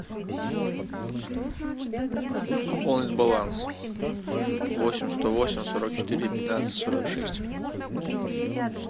пополнить баланс восемь сто восемь сорок четыре пятнадцать сорок шесть